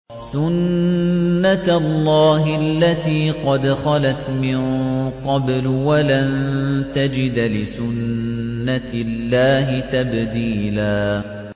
سُنَّةَ اللَّهِ الَّتِي قَدْ خَلَتْ مِن قَبْلُ ۖ وَلَن تَجِدَ لِسُنَّةِ اللَّهِ تَبْدِيلًا